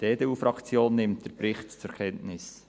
Die EDU-Fraktion nimmt den Bericht zur Kenntnis.